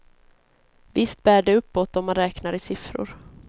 Visst bär det uppåt, om man räknar i siffror.